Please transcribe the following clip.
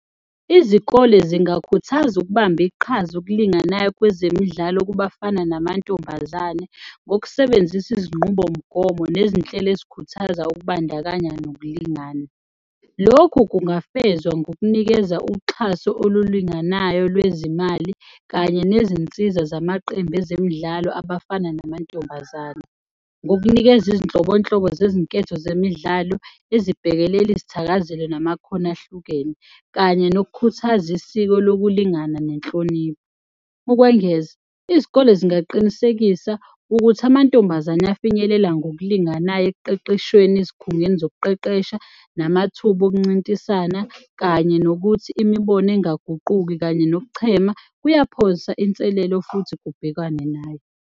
Izikole zingakhuthaza ukubamba iqhaza okulinganayo kwezemidlalo kubafana namantombazane ngokusebenzisa izinqubomgomo nezinhlelo ezikhuthaza ukubandakanya nokulingana. Lokhu kungafezwa ngokunikeza uxhaso olulinganayo lwezimali kanye nezinsiza zamaqembu ezemidlalo abafana namantombazane ngokunikeza izinhlobonhlobo zezinketho zemidlalo ezibhekelele izithakazelo namakhono ahlukene kanye nokukhuthaza isiko lokulingana nenhlonipho. Ukwengeza, izikole zingaqinisekisa ukuthi amantombazane afinyelela ngokulinganayo ekuqeqeshweni ezikhungweni zokuqeqesha namathuba okuncintisana kanye nokuthi imibono engaguquki kanye nokuchema kuyaphosa inselelo futhi kubhekwane nayo.